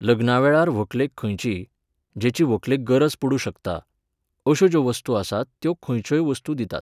लग्ना वेळार व्हंकलेक खंयचीय, जेची व्हंकलेक गरज पडूंक शकता, अश्यो ज्यो वस्तू आसात त्यो खंयच्योय वस्तू दितात.